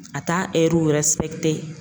A t'a